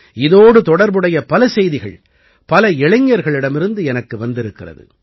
இதோடு தொடர்புடைய பல செய்திகள் பல இளைஞர்களிடமிருந்து எனக்கு வந்திருக்கிறது